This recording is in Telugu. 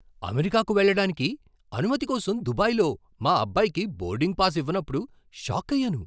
అమెరికాకు వెళ్ళడానికి అనుమతి కోసం దుబాయ్లో మా అబ్బాయికి బోర్డింగ్ పాస్ ఇవ్వనప్పుడు షాకయ్యాను.